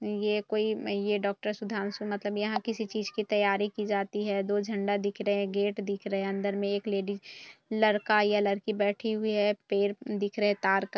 ये कोई डॉक्टर सुंधांशु मतलब यहाँ किसी चीज़ की तैयारी की जाती है दो झंडा दिख रहे गेट दिख रखे अंदर में एक लेडीज लड़का या लड़की बैठी हुई है पेड़ दिख रहे है तार का--